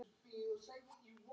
Elsku Sveina takk fyrir mig.